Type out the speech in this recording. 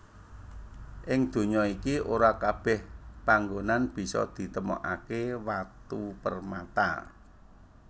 Ing donya iki ora kabèh panggonan bisa ditemokaké watu permata